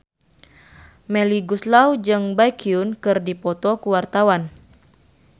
Melly Goeslaw jeung Baekhyun keur dipoto ku wartawan